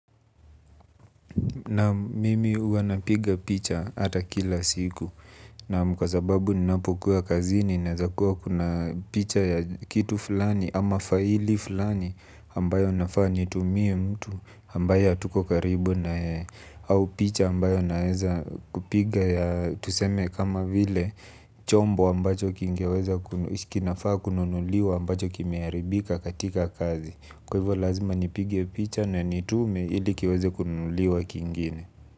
Naam mimi huwanapiga picha hata kila siku naam kwa sababu ninapokuwa kazini naweza kuwa kuna picha ya kitu fulani ama faili fulani ambayo nafaa nitumie mtu ambaye hatuko karibu nayeye au picha ambayo naweza kupiga ya tuseme kama vile chombo ambacho kinafaa kununuliwa ambacho kimeharibika katika kazi. Kwa hivyo lazima nipige picha na nitume ilikiweze kununuliwa kingine.